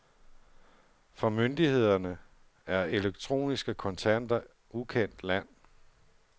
For myndighederne er elektroniske kontanter ukendt land.